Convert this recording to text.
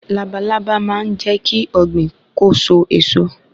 labalábá máa n jékí Ògbìn kó so èso